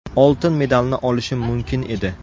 Oltin medalni olishim mumkin edi.